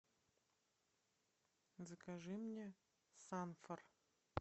закажи мне санфор